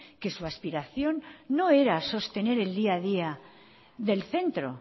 que su aspiración no era sostener el día a día del centro